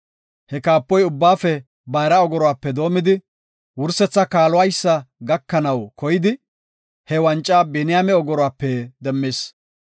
He kaapoy ubbaafe bayra ogoruwape doomidi wursetha kaaluwaysa gakanaw koyidi, he wanca Biniyaame ogoruwape demmis.